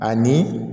Ani